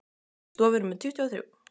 Í stofu númer tuttugu og þrjú.